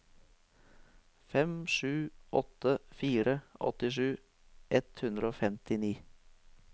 fem sju åtte fire åttisju ett hundre og femtini